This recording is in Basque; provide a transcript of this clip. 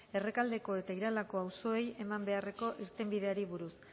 errekaldeko eta iralako auzoei eman beharreko irtenbideari buruz